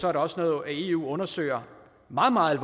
er det også noget eu undersøger meget meget